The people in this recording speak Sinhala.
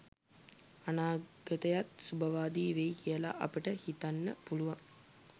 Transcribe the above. අනාගතයත් සුබවාදී වෙයි කියලා අපට හිතන්න පුළුවන්.